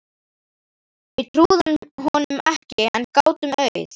Við trúðum honum ekki en gátum auð